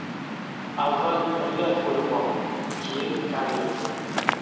Avval millat bo‘lib ol, keyin karillaysan.